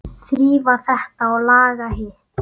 Þrífa þetta og laga hitt.